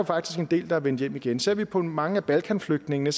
faktisk en del der er vendt hjem igen ser vi på mange af balkanflygtningene